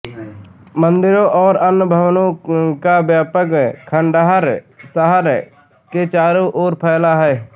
मंदिरों और अन्य भवनों का व्यापक खंडहर शहर के चारों ओर फैला है